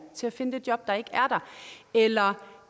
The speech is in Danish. til at finde det job der ikke er der eller